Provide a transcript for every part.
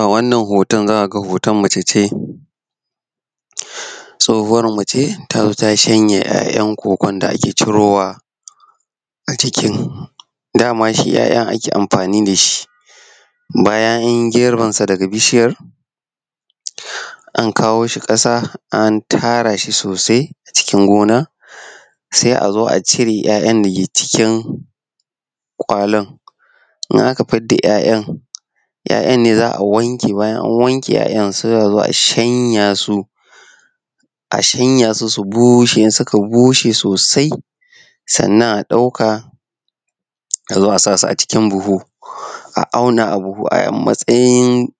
A wann hoto za a ga hoton mace ce tsohuwar mace ta zo ta yi sanyar 'ya'yan cocoa da ake cirowa a cikin dama shi ya'ya ake cirowa ake amfani da dhi bayan an yi girbinsa an kawo shi kasa an tara shi sosai cikin gona sai a zoa cirw 'ya'yan da suke cikin gona kallon. Idan aka fidda ya'ya su ne za a wanke bayan an wanke sai a zo a shanya su, su bushe sosai sannan a dauka a zo a sa su a cikin buhu a dauna a bubu a matsayin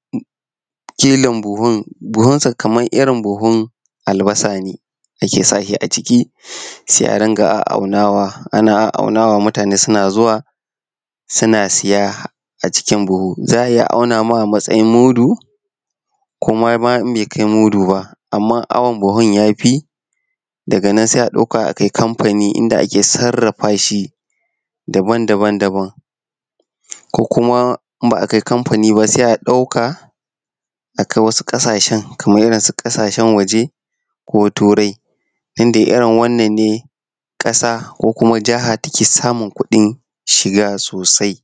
kilon buhun. Buhunsa kamar irin buhun albarsa ne ake sa shi a cikin sai auna matane suna zuwa suna saye a cikin bubu, za a iya auna ma a matsayin mudu ko bai kai mudu ba. Amma awan buhun ya fi daga nana sai a dauka a kai kamfani inda ake sarrafa shi daban-daban ko kuma idan ba a kai kamfani ba sai a dauka a kai wasu ƙasashen kamar irinsu kasashen waje ko turai. Irin wannan ne ƙasa ko jiha take samun kuɗin shiga sosai.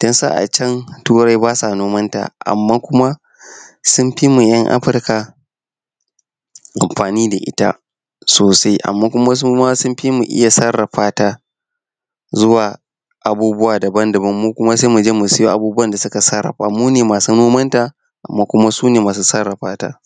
Din su a cen turai ba su nomanta amma kuma sun fi mu tan Afirka amfani da ita sosai amma sun fi mu oya sarrafa ta zuwa abubuwa daban-daban, mu kuma sai mu je mu sayo abubuwan da suka sarrafa. Mu ne masu nomanta amm su ne masu sarrafa ta.